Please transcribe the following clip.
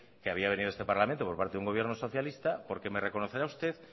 que había venido a este parlamento por parte de un gobierno socialista porque me reconocerá usted